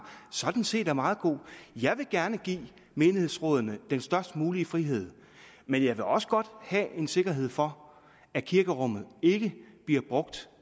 sådan set er meget god jeg vil gerne give menighedsrådene den størst mulige frihed men jeg vil også godt have en sikkerhed for at kirkerummet ikke bliver brugt